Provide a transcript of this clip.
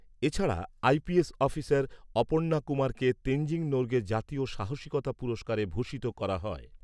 এছাড়া, IPS officer Aparna কুমারকে তেনজিং নোরগে জাতীয় সাহসিকতা পুরস্কারে ভূষিত করা হয়।